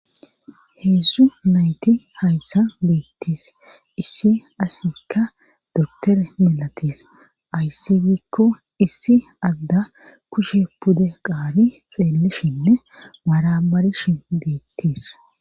heedzdzu nayti hayssa beettis issi asikka doktore milatis ayssi gikko issi adda kushe pude qaabi xeellishinne maramarishin beettis